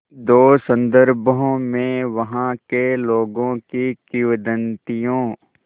दो संदर्भों में वहाँ के लोगों की किंवदंतियों